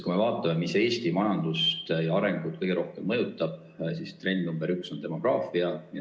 Kui me vaatame, mis Eesti majandust ja arengut kõige rohkem mõjutab, siis trend number üks on demograafia.